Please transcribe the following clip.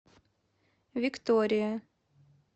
виктория